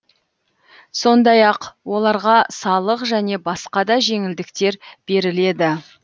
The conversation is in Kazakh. сондай ақ оларға салық және басқа да жеңілдіктер беріледі